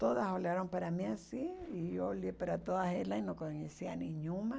Todas olharam para mim assim e olhei para todas elas e não conhecia nenhuma.